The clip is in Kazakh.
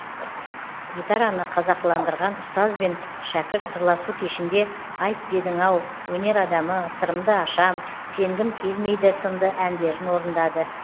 гитараны қазақыландырған ұстаз бен шәкірт сырласу кешінде айт дедің ау өнер адамы сырымды ашам сенгім келмейді сынды әндерін орындады